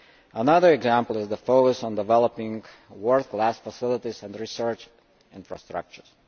Another example is the focus on developing world class facilities and research infrastructures.